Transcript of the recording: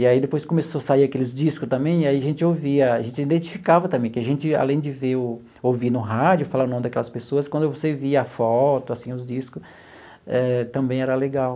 E aí depois começou a sair aqueles discos também, aí a gente ouvia, a gente identificava também, que a gente, além de ver o ouvir no rádio, falar o nome daquelas pessoas, quando você via a foto, assim, os discos, eh também era legal.